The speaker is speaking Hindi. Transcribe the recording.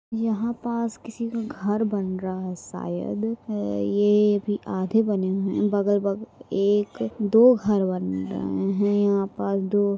यहां पास किसी का घर बन रहा है शायद ये अभी आधे बने हुए है बगल बग-- एक दो घर बन रहे है यहाँ पर दो--